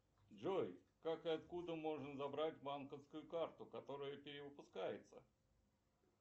джой как и откуда можно забрать банковскую карту которая перевыпускается